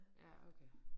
Ja okay